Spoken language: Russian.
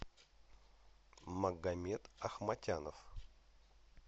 магомед ахматянов